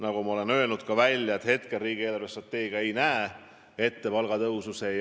Nagu ma olen välja öelnud, hetkel riigi eelarvestrateegia ei näe ette palgatõusu selles sektoris.